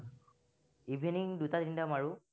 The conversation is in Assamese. evening দুটা তিনিটা match